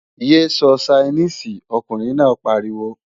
Yé sọ Ṣainíìsì, ọkùnrin náà pariwo!